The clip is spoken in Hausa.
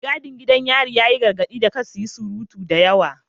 Mai gadin gidan yarin ya gargadi fursunonin da kada su yi surutu da yawa